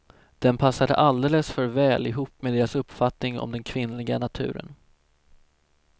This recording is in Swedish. Den passade alldeles för väl ihop med deras uppfattning om den kvinnliga naturen.